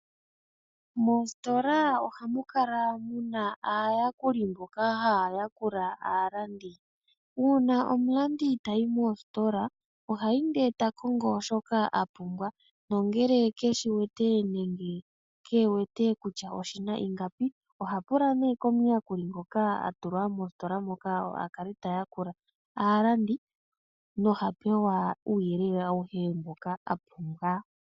Moositola ohamu kala muna aayakuli mboka haayakula aalandi. Uuna omulandi tayi mositola ohayi ndee ta kongo shoka a pumbwa nongele keshi wete nenge ke wete kutya oshi na ingapi oha pula nee omuyakuli ngoka a tulwa mositola moka a kale ta yakula aalandi noha gandja uuyelele awuhe mboka wa pumbiwa.